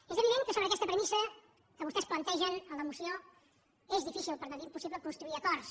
és evident que amb aquesta premissa sobre la qual vostès plantegen la moció és difícil per no dir impossible construir acords